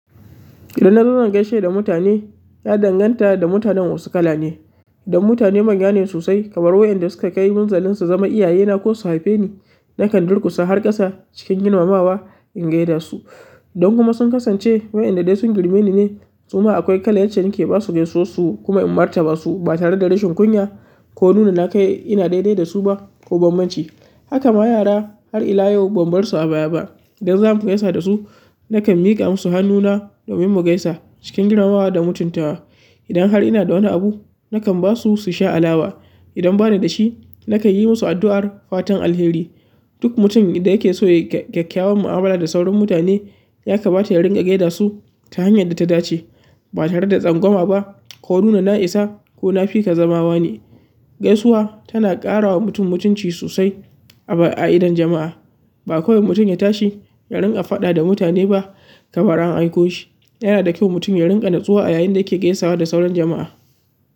Idan na zauna gaishe da mutane, ya danganta da mutanen wasu kala ne. Idan mutane manyane sosai kamar wayanda suka kai munzalun su zama iyayena ko su haife ni, na kan durƙusa har ƙasa cikin girmamawa in gaishe su. Don kuma sun kasance wayanda dai sun girme ni ne. Suma akwai kalar yace nake basu gaisuwarsu kuma in martaba su ba tare da rashin kunya ko nuna na kai ina daidai da su ba ko bambanci. Haka ma yara har ila yau ban bar su a baya ba. Idan za mu gaisa da su, na kan miƙa musu hannuna domin mu gaisa cikin girmamawa da mutuntawa. Idan har ina da wani abu, na kan basu su sha alawa. Idan banidashi nakan yi musu addu'ar fatan alkhairi. Duk mutum idan yake so ya yi gaskyawan mu'amala da sauran mutane, ya kamata ya ringa gaida su ta hanyar da ta dace ba tare da tsangwama ba ko nuna na isa ko na fi ka zama wane. Gaisuwa tana ƙarawa mutum mutunci sosai a idon jama'a ba kowai mutum ya tashi ya ringa faɗa da mutane ba kamar an aiko shi. Yana da kyau mutum ya ringa natsuwa yayin da yake gaisawa da sauran jama'a.